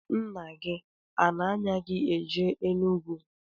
Nna gi ana-anya gi eje n'Enugwu?